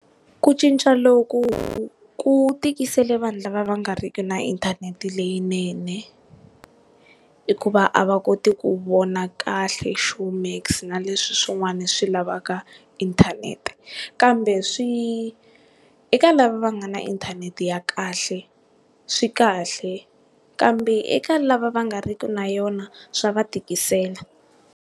Ku cinca loku ku tikisele vanhu lava va nga riki na inthanete leyinene, hikuva a va koti ku vona kahle ShowMax na leswi swin'wana swi lavaka inthanete kambe swi eka lava va nga na inthanete ya kahle swi kahle kambe eka lava va nga riki na yona swa va tikisela.